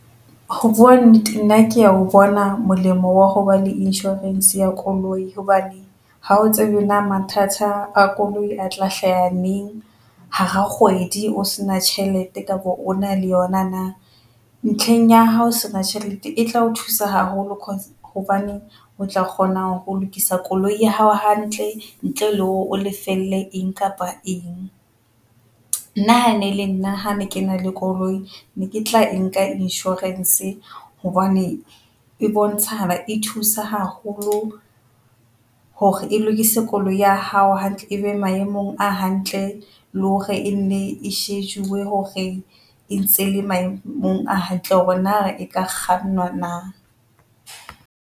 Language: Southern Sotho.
Ho bua nna kea ho bona molemo wa hoba le insurance ya koloi hobane ha o tsebe na mathata a koloi a tla hlaha neng hara kgwedi. O se na tjhelete kapa o na le yona na ntlheng ya hao sena tjhelete e tla o thusa haholo cause hobaneng o tla kgona ho lokisa koloi ya hao hantle ntle le hore o lefelle eng kapa eng. Na ene le nna ha ne ke na le koloi ne ke tla e nka insurance hobane e bontsha e thusa haholo hore e lokise koloi ya hao hantle. Ebe maemong a hantle le hore e nne e shejuwe hore e ntse le maemong a hantle hore na re e ka kgannwa na.